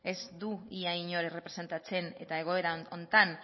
ez du ia inor errepresentatzen eta egoera honetan